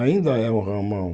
Ainda é o ramal.